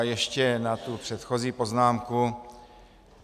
A ještě na tu předchozí poznámku.